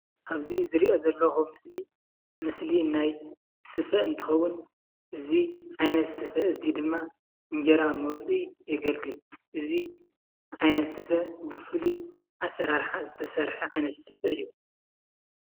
ኣብዚ ዝርእዮ ዘለኹ ምስሊ ምስሊ ናይ ስፈ እንትኸውን እዚ ዓይነት ስፍ እዚ ድማ እንጀራ መውፅኢ የገለግል። እዚ ዓይነት ሰፈ ብፉሉይ ኣሰራርሓ ዝተሰርሐ ዓይነት ስፈ እዩ።